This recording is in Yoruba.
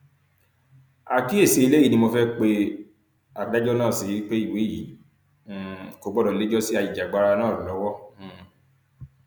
àkíyèsí eléyìí ni mo fẹẹ pe adájọ náà sí pé ìwé yìí um kò gbọdọ lẹjọ sí ajìjàgbara náà lọwọ um